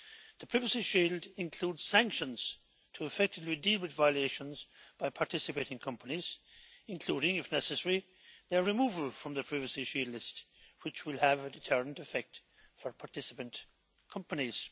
The Privacy Shield includes sanctions to effectively deal with violations by participating companies including, if necessary, their removal from the Privacy Shield list, which will have a deterrent effect for participant companies.